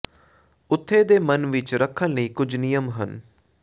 ਉੱਥੇ ਦੇ ਮਨ ਵਿਚ ਰੱਖਣ ਲਈ ਕੁਝ ਨਿਯਮ ਹਨ